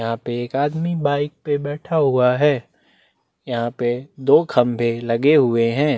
यहाँ पे एक आदमी बाइक पे बैठा हुआ है यहाँ पे दो खंबे लगे हुए है।